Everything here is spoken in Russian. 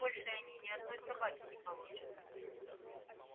больше они ни одной собаки не получат